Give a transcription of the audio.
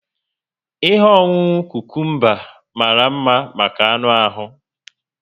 Ihe ọṅụṅụ cucumber mara mma maka anụ ahu